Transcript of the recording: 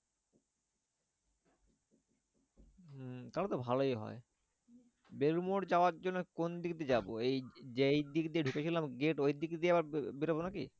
উম তাহলে তো ভালোই হয়। বেলুড় মঠ যাওয়ার জন্য কোন দিক দিয়ে যাবো? এই যেই দিক দিয়ে ঢুকেছিলাম gate ওই দিক দিয়ে আবার বেরোবো নাকি?